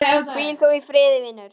Hvíl þú í friði, vinur.